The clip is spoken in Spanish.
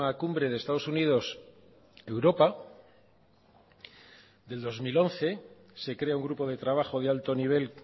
cumbre de estados unidos europa del dos mil once se crea un grupo de trabajo de alto nivel